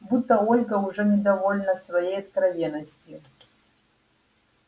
будто ольга уже недовольна своей откровенностью